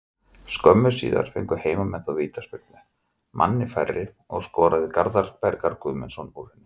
Skömmu síðar fengu heimamenn þó vítaspyrnu, manni færri, og skoraði Garðar Bergmann Gunnlaugsson úr henni.